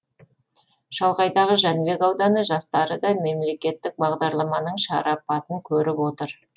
шалғайдағы жәнібек ауданы жастары да мемлекеттік бағдарламаның шарапатын көріп отыр